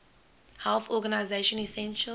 health organization essential